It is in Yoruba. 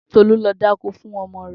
Tolú lọ dákó fun ọmọ rẹ̀